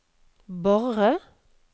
Borre